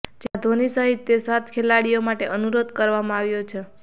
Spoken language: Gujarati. જેમાં ધોની સહિત તે સાત ખેલાડીઓ માટે અનુરોધ કરવામાં આવ્યો છે